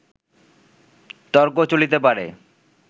তর্ক চলিতে পারে